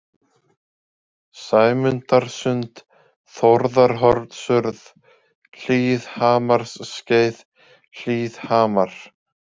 Sæmundarsund, Þórðarhornsurð, Hlíðhamarsskeið, Hlíðhamar